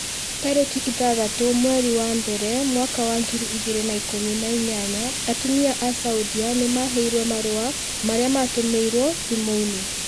Tarĩki ithathatũ mweri wa mbere mwaka wa ngiri igĩrĩ na ikũmi na inyanya atumia a saudia nimaheirũo marua marĩa matũmirwo thimũ-inĩ